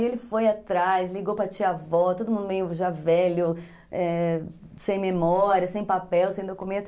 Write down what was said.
E ele foi atrás, ligou para a tia-avó, todo mundo meio já velho, sem memória, sem papel, sem documento.